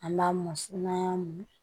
An b'a mɔsi n'an y'a min